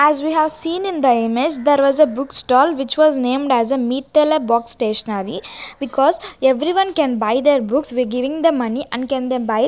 As we have seen in the image there was a book stall which was named as a Meetale box stationery because everyone can buy their books we giving the money and can they --